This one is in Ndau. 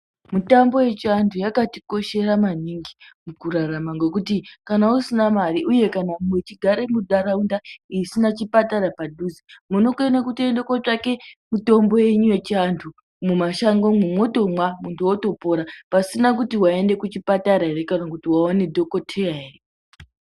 Mitombo yechiandu yakabatikoshera maningi mukurarama ngekuti kana usina mare uye kana uchigare mundaraunda isina chipatara padhuze, munokona kutoenda kutsvake mitombo yenyu yechiantu mumashangomwo motomwa muntu atopora pasina kuti maenda kuchipatara here kana kuti waona dhokotera here.